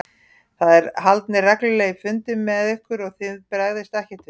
Það eru haldnir reglulegir fundir með ykkur og þið bregðist ekkert við?